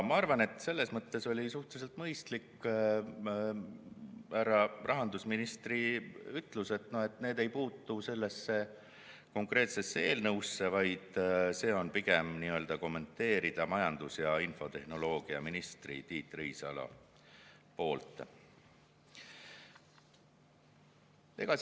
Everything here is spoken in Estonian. Ma arvan, et selles mõttes oli suhteliselt mõistlik härra rahandusministri ütlus, et see teema ei puutu konkreetsesse eelnõusse, vaid on pigem majandus- ja infotehnoloogiaminister Tiit Riisalo kommenteerida.